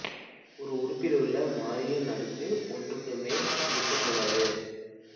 ஒரு உறுப்பிலுள்ள மாறியின் அடுக்கு ஒன்றுக்கு மேல் இருக்கக் கூடாது